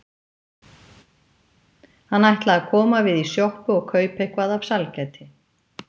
Hann ætlaði að koma við í sjoppu og kaupa eitthvað af sælgæti.